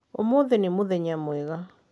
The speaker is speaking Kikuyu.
ũmuthĩ nĩ mũthenya mwega